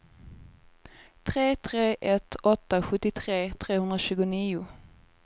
tre tre ett åtta sjuttiotre trehundratjugonio